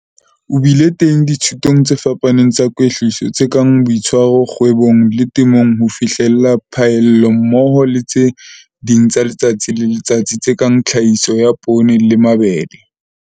O bile teng dithutong tse fapaneng tsa kwetliso tse kang Boitshwaro Kgwebong le Temong ho fihlella Phaello hammoho le tse ding tsa letsatsi le letsatsi tse kang Tlhahiso ya Poone le Mabele.